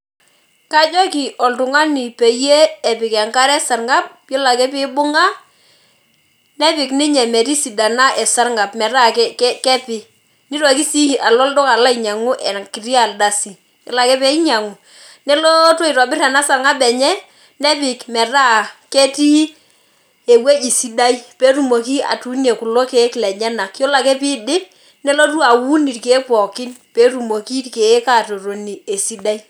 Kajoki oltung'ani peyie epik enkare esarng'ab, yiolo ake pibung'a, nepik ninye metisidana esarng'ab. Metaa kepi. Nitoki si alo olduka alo ainyang'u enkiti ardasi. Yiolo ake peinyang'u, nelootu atobir ena sarng'ab enye, nepik metaa ketii ewueji sidai. Petumoki atuunie kulo keek lenyanak. Yiolo ake piidip, nelotu aun irkeek pookin, petumoki irkeek atotoni esidai.